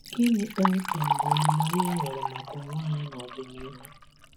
Gịnị kpọmkwem bụ olileanya e nwere maka ụwa anyị n’ọdịnihu?